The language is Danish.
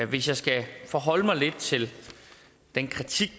hvis jeg skal forholde mig lidt til den kritik